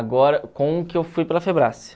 Agora, com o que eu fui para a